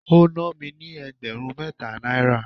ó ná mi ní ẹgbẹ̀rún mẹ́ta náírà.